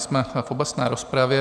Jsme v obecné rozpravě.